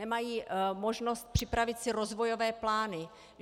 Nemají možnost připravit si rozvojové plány.